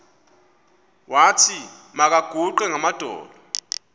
wathi makaguqe ngamadolo